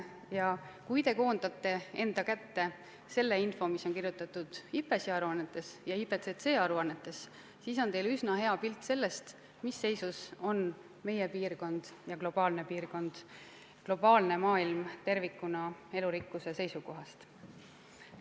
Ja kui te koondate enda kätte selle info, mis on kirjutatud IPBES-i aruannetes ja IPCC aruannetes, siis on teil üsna hea pilt sellest, mis seisus on meie piirkond ja maailm tervikuna elurikkuse seisukohast.